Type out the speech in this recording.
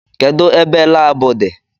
Kedụ ebe laabu di?